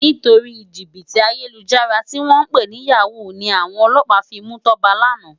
Nitóri jibiti àyélújàrá tiwòn pé ni yáwú ni áwòn òlòpá fi mú Toba làná